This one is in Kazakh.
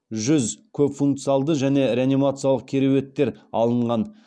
жүз көпфункциалды және реанимациялық кереуеттер алынған